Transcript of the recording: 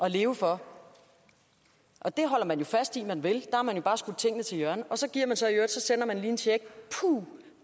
at leve for det holder man jo fast i at man vil har man jo bare skudt tingene til hjørne og så sender man lige en check